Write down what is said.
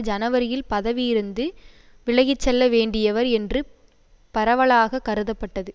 ஜனவரியில் பதவியிருந்து விலகிச்செல்ல வேண்டியவர் என்று பரவலாக கருதப்பட்டது